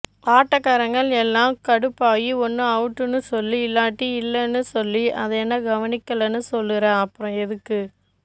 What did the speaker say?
ஆட்டகரங்க எல்லாம் கடுப்பாயி ஒன்னு அவுட்டுன்னு சொல்லு இல்லாட்டி இல்லன்னு சொல்லு அதென்ன கவனிக்கலன்னு சொல்லுற அப்புறம் எதுக்கு